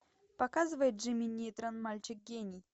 показывай джимми нейтрон мальчик гений